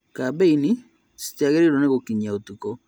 Kambeini citiagĩrĩirwo nĩ gũkinyia ũtukũ